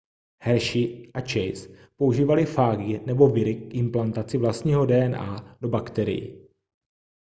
hershey a chase používali fágy nebo viry k implantaci vlastního dna do bakterií